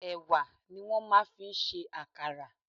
Ẹ̀wà ni wọ́n máa ń fi ń ṣe àkàrà.